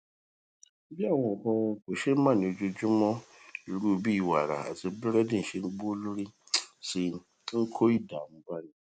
bí àwọn nǹkan kòṣeémánìí ojoojúmó irú bí wàrà àti búrédì ṣe ń gbówó lórí sí i ń kó ìdààmú báni